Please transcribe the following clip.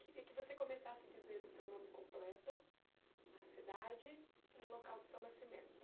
Queria que você começasse dizendo o seu nome completo, a cidade e o local do seu nascimento.